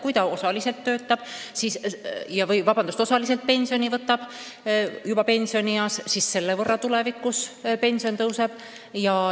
Kui ta pensionieas võtab algul välja vaid osa pensionist, siis selle võrra tal tulevikus pension tõuseb.